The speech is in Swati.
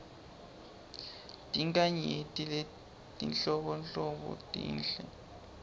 tinkhanyeti letinhlobonhlobo tinhle